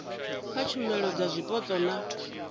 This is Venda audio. kha tshumelo dza zwipotso na